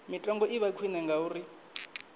mitengo i vha khwine ngauri